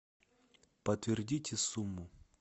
подтвердите сумму